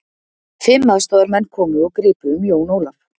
Fimm aðstoðarmenn komu og gripu um Jón Ólaf.